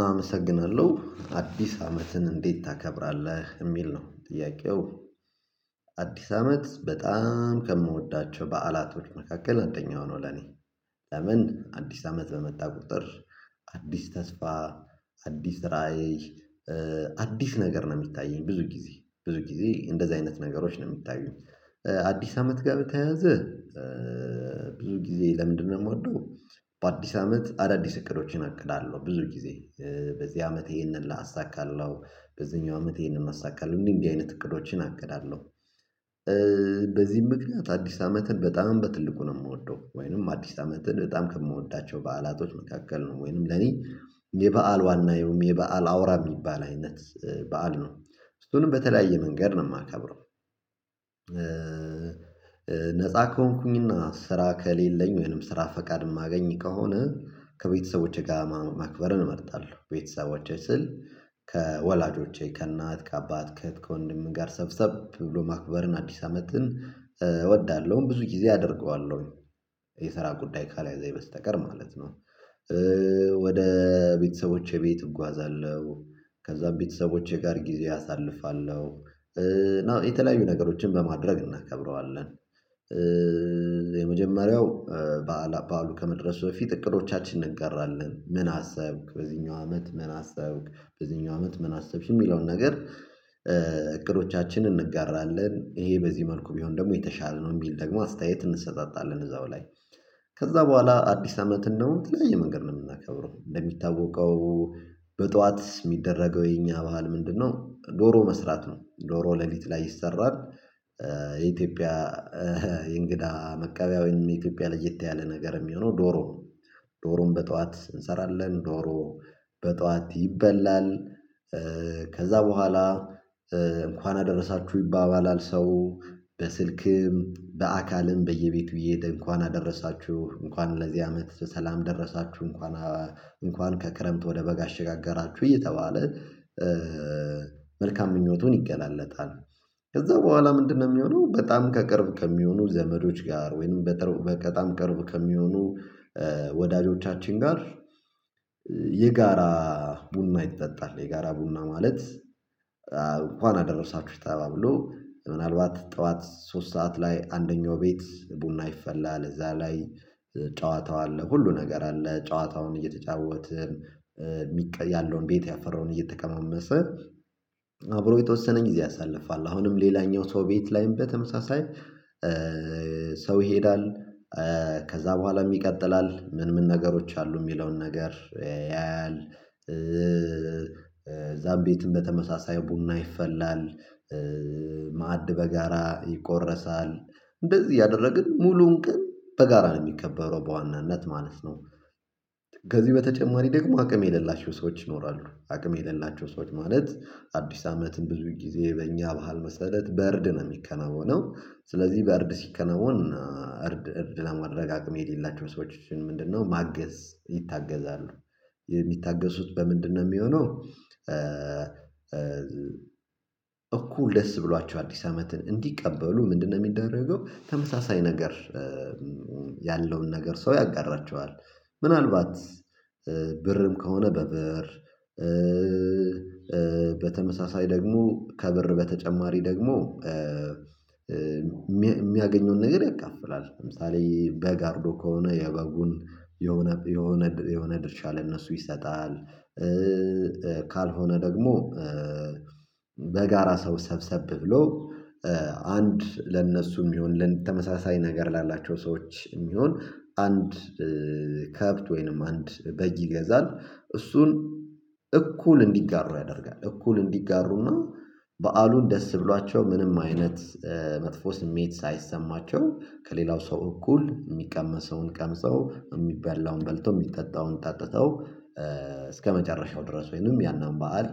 አመሰግናለሁ አዲስ አመትን እንዴት ታከብራለህ የሚል ነው ጥያቄው? አዲስ አመት በጣም ከምወዳቸው በዓላቶች መካከል አንደኛው ነው። ለኔ ለምን አዲስ አመት በመጣ ቁጥር። አዲስ ተስፋ አዲስ ራዕይ አዲስ ነገር ነው። የሚታየኝ ብዙ ጊዜ ብዙ ጊዜ እንደዚያ አይነት ነገሮች ነው የሚታዩኝ። አዲስ አመት ጋር በተያያዘ ብዙ ጊዜ ለምንድነው ምወደው? በአዲስ አመት አዳዲስ እቅዶችን አቅዳለሁ ብዙ ጊዜ። በዚህ አመት ይህንን አሳካለሁ በዚኛው አመት ይህንን አሳካለሁ እንዲ እንዲ አይነት እቅዶችን አቅዳለሁ። በዚህም ምክንያት አዲስ አመትን በጣም በትልቁ ነው የምወደው። ወይንም አዲስ አመትን በጣም ከምወዳቸው በዓላቶች መካከል ነው። ወይንም ለኔ የበአል ዋና ወይም የበአል አውራ ሚባል አይነት። በዓል ነው እሱንም በተለያየ መንገድ ነው ማከብረው። ነፃ ከሆንኩኝ እና ስራ ከሌለኝ ወይንም ስራ ፍቃድ የማገኝ ከሆነ ከ ቤተሰቦቼ ጋር ማክበርን እመርጣለሁ። ቤተሰቦቼ ስል ከወላጆቼ ከእናት ከአባት ከእህት ከወንድም ጋር ሰብሰብ ብሎ ማክበርን አዲስ አመትን እወዳለሁም ብዙ ጊዜ አደርገዋለሁ። የስራ ጉዳይ ካልያዘኝ በስተቀር ማለት ነው። ወደ ቤተሰቦቼ ቤት እጓዛለሁ። ከእዛ ቤተሰቦቼ ጋር ጊዜ አሳልፋለሁ። የተለያዩ ነገሮች በማድረግ እናከብረዋለን። የመጀመሪያው በአላ በዓሉ ከመድረሱ በፊት እቅዶቻች እንጋራለን ምን አሰብክ በእዚኛው አመትም አሰብክ በእዚኛው አመት ምን አሰብሽ የሚለውን ነገር? እቅዶቻችን እንጋራን ይሄ በዚህ መልኩ ቢሆን ደግሞ የተሻለ ነው የሚል ደግሞ አስተያየት እንሰጣጣን እዚያው ላይ። ከዛ በኋላ አዲስ አመትን አሁን በተለያየ መንገድ ነው ምናከብረው እንደሚታወቀው። በ በጠዋት የሚደረገው የእኛ ባህል ምንድን ነው? ዶሮ መስራት ነው ዶሮ ለሊት ላይ ይሰራል። የኢትዮዽያ የእንግዳ መቀበያ ወይም የኢትዮዽያ ለየት ያለ ነገር የሚሆነው ዶሮ ነው። ዶሮን በ ጠዋት እንሰራለን ዶሮ በጠዋት ይበላል። ከዛ በኋላ እንኳን አደረሳቹ ይባባላል ሰው በስልክም በአካልም በየቤቱ እየሄደ እንኳን አደረሳቹ እንኳን ለዚህ አመት በሰላም ደረሳቹ እንኳን አ እንኳን ከክረምት ወደ በጋ አሸጋገራቹ እየተባለ። መልካም ምኞቱን ይገላለፃል። ከዛ በኋላ ምንድነው ሚሆነው? በጣም ከ ቅርብ ከሚሆኑ ዘመዶች ጋር ወይንም በጣም ቅርብ ከሚሆኑ ወ ወዳጆቻችን ጋር። የጋራ ቡና ይጠጣል የጋራ ቡና ማለት። እንኳን አደረሳቹ ተባብሎ ምንአልባት ጠዋት ሶስት ሰዓት ላይ አንደኛው ቤት ቡና ይፈላል እዛ ላይ። ጨዋታው አለ ሁሉም ነገር አለ ጨዎታውን እየተጫወትን። ሚቀየ ያለውን ቤት ያፈራውን እየተቀማመሰ። አብሮ የተወሰነ ጊዜ ያሳልፋል። አሁንም ሌላኛው ሰው ቤት ላይም በተመሳሳይ ሰው ይሄዳል። ከዚያ በኋላም ይቀጥላል ምንምን ነገሮች አሉ የሚለውን ነገር ያያል። ከዚያ ቤትም በተመሳሳይ ቡና ይፈላል። ማዕድ በጋራ ይቆረሳል። እንደዚህ እያደረግን ሙሉውን ቀን በጋራ ነው ሚከበረው በዋናነት ማለት ነው። ከዚህ በተጨማሪ ደግሞ አቅም የሌላቸው ሰዎች ይኖራሉ አቅም የሌላቸው ሰዎች ማለት አዲስ አመትን ብዙ ጊዜ በእኛ ባህል መሰረት በዕርድ እርድ ነው የሚከናወነው። ስለዚህ በዕርድ ሲከናወን። እርድ ለማድረግ አቅም የሌላቸው ሰዎችን ምንድነው ማገዝ? ይታገዛሉ። የሚታገዙት በምንድነው ሚሆነው? እኩል ደስ ብሎአቸው አዲስ አመትን እንዲቀበሉ ምንድነው ሚደረገው? ተመሳሳይ ነገር። ያለውን ነገር ሰው ያጋራቸዋል። ምን አልባት ብርም ከሆነ በብር። በተመሳሳይ ደግሞ ከብርም በተጨማሪ ደግሞ። የሚያገኘውን ነገር ያካፍላል ለምሳሌ በግ አርዶ ከሆነ የበጉን የሆነ የሆነ ድርሻ ለእነርሱ ይሰጣል። ካልሆነ ደግሞ። በጋራ ሰው ሰብሰብ ብሎ። አንድ ለእነርሱ የሚሆን ለልን ተመሳሳይ ነገር ላላቸው ሰዎች የሚሆን አንድ ከብት ወይንም አንድ በግ ይገዛል። እሱን እኩል እንዲጋሩ ያደርጋል። እኩል እንዲጋሩ አና። በዓሉን ደስ ብሏቸው ምንም አይነት መጥፎ ስሜት ሳይሰማቸው ከሌላው ሰው እኩል የሚቀመሰውን ቀምሰው የሚበላውን በልተው የሚጠጣውን ጠጥተው እስከመጨረሻው ድረስ ወይንም ያንን በዓል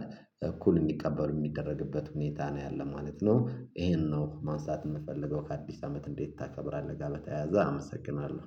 እኩል እንዲቀበሉ የሚደረግበት ሁኔታ ነው ያለው ማለት ነው። ይህን ነው ማንሳት የምፈልገው። ከአዲስ አመት እንዴት ታከብራለህ ጋር በተያያዘ አመሰግናለሁ